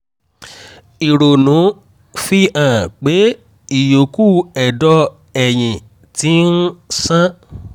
ìrònú-x fi hàn pé ìyókù ẹ̀dọ̀ ẹ̀yìn ti um ń ṣàn